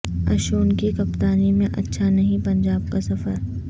اشون کی کپتانی میں اچھا نہیں پنجاب کا سفر